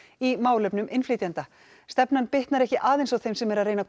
í málefnum innflytjenda stefnan bitnar ekki aðeins á þeim sem eru að reyna að